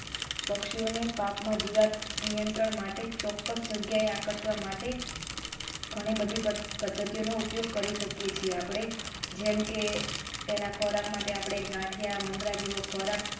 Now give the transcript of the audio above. પક્ષીઓને પાકમાં જીવાત નિયંત્રણ માટે ચોકકસ જગ્યાએ આકર્ષવા માટે ઘણી બધી પદ્ય પદ્ધતિઓનો ઉપયોગ કરી શકે છે. આપણે જેમકે તેના ખોરાક માટે ગાંઠિયા મમરા જેવા ખોરાક